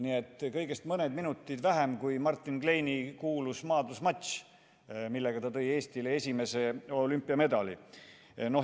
Nii et kõigest mõned minutid vähem kui Martin Kleini kuulus maadlusmatš, millega ta tõi Eestile esimese olümpiamedali.